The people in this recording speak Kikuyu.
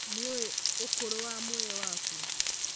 Nĩũĩ ũkũrũwa muoyo waku?